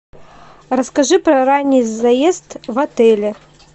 расскажи про ранний заезд в отеле